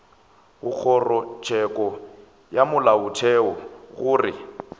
go kgorotsheko ya molaotheo gore